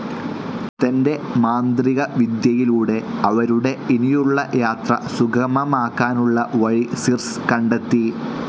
തന്റെ മാന്ത്രികവിദ്യയിലൂടെ, അവരുടെ ഇനിയുളള യാത്ര സുഗമമാക്കാനുളള വഴി സിർസ്‌ കണ്ടെത്തി.